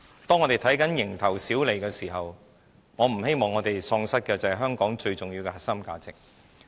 當我們只看着蠅頭小利時，我不希望我們喪失的是香港最重要的核心價值。